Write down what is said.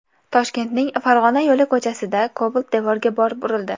Toshkentning Farg‘ona yo‘li ko‘chasida Cobalt devorga borib urildi.